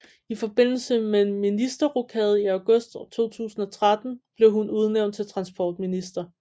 I forbindelse med en ministerrokade i august 2013 blev hun udnævnt til transportminister